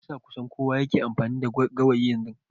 Me yasa kusan kowa yake amfani da gawayi yanzu?